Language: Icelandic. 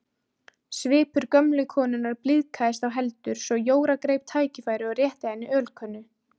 Svipur gömlu konunnar blíðkaðist þá heldur svo Jóra greip tækifærið og rétti henni ölkönnu.